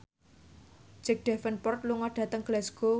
Jack Davenport lunga dhateng Glasgow